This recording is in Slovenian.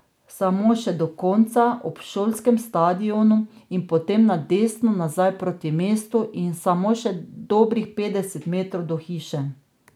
Samo še do konca, ob šolskem stadionu, in potem na desno nazaj proti mestu in samo še dobrih petdeset metrov do hiše.